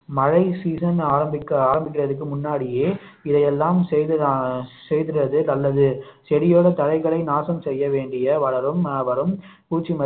மழை season ஆரம்பிக்க ஆரம்பிக்கிறதுக்கு முன்னாடியே இதையெல்லாம் செய்து செய்திடுவது நல்லது செடியோடு தழைகளை நாசம் செய்ய வேண்டிய வளரும் வரும் பூச்சி